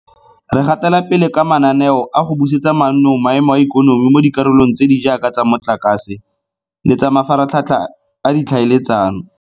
Re gatela pele ka mananeo a go busetsa mannong maemo a ikonomi mo dikarolong tse di jaaka tsa motlakase le tsa mafaratlhatlha a ditlhaeletsano.